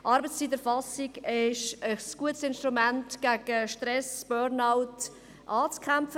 Arbeitszeiterfassung ist ein gutes Instrument, um gegen Stress und Burnout anzukämpfen.